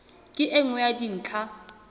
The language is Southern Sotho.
ke e nngwe ya dintlha